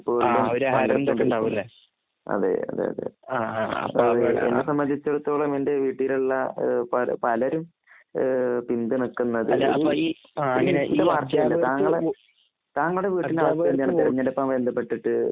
അതെ അതേ എന്നെ സംബന്ധിച്ചിടത്തോളം എന്റെ വീട്ടിലുള്ള പലരും പിന്തുണക്കുന്നത്